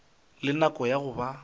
le nako ya go ba